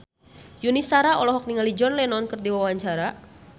Yuni Shara olohok ningali John Lennon keur diwawancara